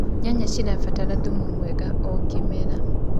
nyanya cirabatara thumu mwega o kĩmera